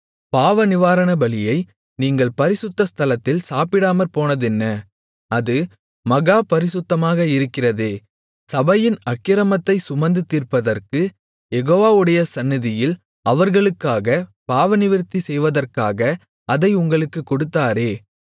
பாவநிவாரணபலியை நீங்கள் பரிசுத்த ஸ்தலத்தில் சாப்பிடாமற்போனதென்ன அது மகா பரிசுத்தமாக இருக்கிறதே சபையின் அக்கிரமத்தைச் சுமந்து தீர்ப்பதற்குக் யெகோவாவுடைய சந்நிதியில் அவர்களுக்காகப் பாவநிவிர்த்தி செய்வதற்காக அதை உங்களுக்கு கொடுத்தாரே